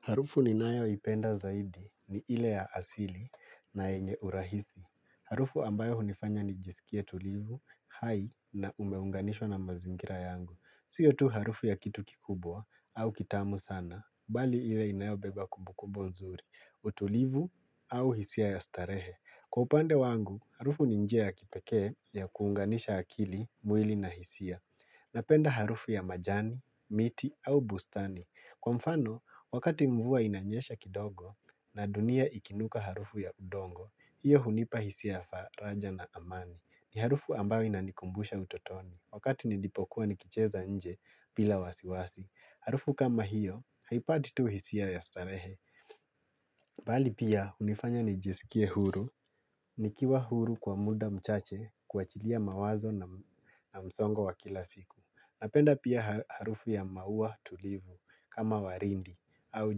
Harufu ni nayo ipenda zaidi ni ile ya asili na yenye urahisi. Harufu ambayo hunifanya ni jisikie tulivu, hai na umeunganishwa na mazingira yangu. Siyo tu harufu ya kitu kikubwa au kitamu sana, bali ile inayobeba kumbukumbu nzuri. Utulivu au hisia ya starehe. Kwa upande wangu, harufu ni njia ya kipekee ya kuunganisha akili mwili na hisia. Napenda harufu ya majani, miti au bustani. Kwa mfano, wakati mvua inanyesha kidogo na dunia ikinuka harufu ya udongo, hiyo hunipa hisia ya faraja na amani. Ni harufu ambayo inanikumbusha utotoni. Wakati nilipokuwa nikicheza nje bila wasiwasi, harufu kama hiyo, haipati tu hisia ya starehe. Bali pia, hunifanya nijisikie huru, nikiwa huru kwa muda mchache kuachilia mawazo na msongo wa kila siku. Napenda pia harufu ya maua tulivu kama waridi au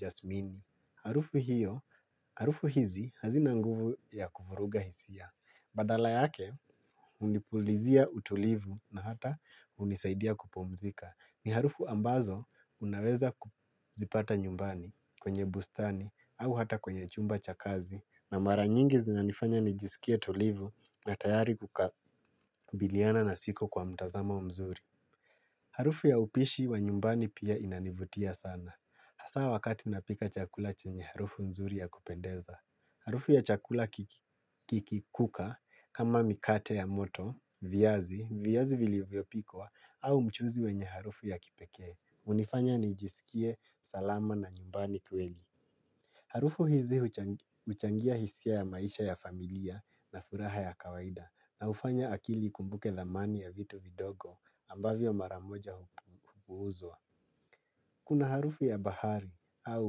jasmini. Harufu hiyo, harufu hizi hazina nguvu ya kufuruga hisia. Badala yake, hunipulizia utulivu na hata hunisaidia kupumzika. Ni harufu ambazo unaweza kuzipata nyumbani kwenye bustani au hata kwenye chumba cha kazi. Na mara nyingi zina nifanya nijisikie tulivu na tayari kukabiliana na siku kwa mtazamo wa mzuri. Harufu ya upishi wa nyumbani pia inanivutia sana. Hasaa wakati napika chakula chenye harufu nzuri ya kupendeza. Harufu ya chakula kiki kuka kama mikate ya moto, viazi, viazi vilivyopikwa au mchuzi wenye harufu ya kipekee. Hunifanya ni jisikie salama na nyumbani kweli. Harufu hizi huchangia hisia ya maisha ya familia na furaha ya kawaida na hufanya akili ikumbuke dhamani ya vitu vidogo ambavyo maramoja hupuuzwa. Kuna harufu ya bahari au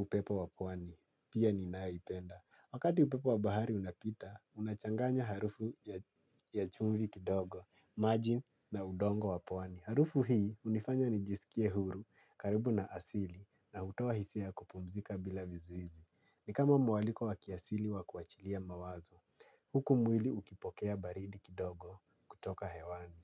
upepo wa pwani, pia ninayoipenda. Wakati upepo wa bahari unapita, unachanganya harufu ya chumvi kidogo, maji na udongo wa pwani. Harufu hii hunifanya nijisikie huru karibu na asili na hutoa hisia ya kupumzika bila vizuizi. Ni kama mwaliko wa kiasili wa kuachilia mawazo, huku mwili ukipokea baridi kidogo kutoka hewani.